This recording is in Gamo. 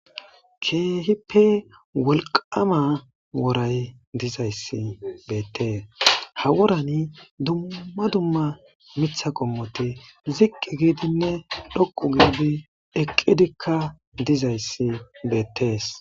Keehippe wolqama woray dizayssi beettees ha worani dumma dumma mitha qommoti ziqqi giidinne dhoqu giidi eqqidikka dizayssi beettees.